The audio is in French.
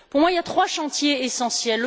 Pour moi, il y a trois chantiers essentiels.